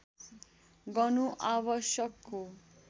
गर्नु आवश्यक हो